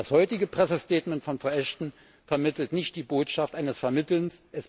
Das heutige Pressestatement von Frau Ashton vermittelt nicht die Botschaft eines Vermittelns.